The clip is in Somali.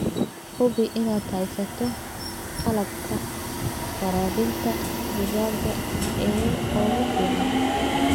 Hubi inaad haysato qalabka waraabinta digaaga ee ugu fiican.